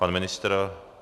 Pan ministr?